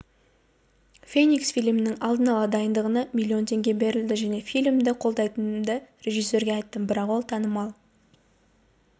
феникс фильмінің алдын ала дайындығына миллион теңге берілді мен фильмді қолдайтынымды режиссерге айттым бірақ ол танымал